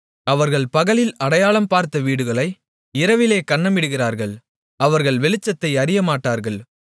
அவர்கள் பகலில் அடையாளம் பார்த்த வீடுகளை இரவிலே கன்னமிடுகிறார்கள் அவர்கள் வெளிச்சத்தை அறியமாட்டார்கள்